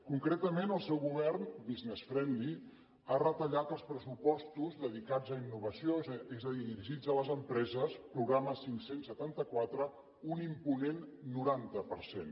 concretament el seu govern business friendly ha retallat els pressupostos dedicats a innovació és a dir dirigits a les empreses programa cinc cents i setanta quatre un imponent noranta per cent